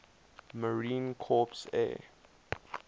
marine corps air